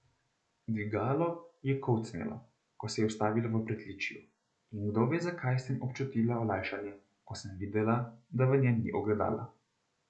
Dvigalo je kolcnilo, ko se je ustavilo v pritličju, in kdo ve zakaj sem občutila olajšanje, ko sem videla, da v njem ni ogledala.